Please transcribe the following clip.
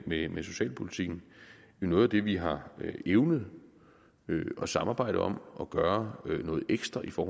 med med socialpolitikken jo noget af det vi har evnet at samarbejde om og gøre noget ekstra for